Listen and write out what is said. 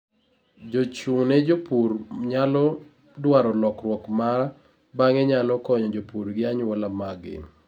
jochung' ne jopur nyalo dwaro lokruok ma bang'e nyalo konyo jopur gi anyuola mag gi